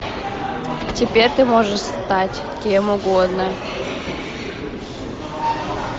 теперь ты можешь стать кем угодно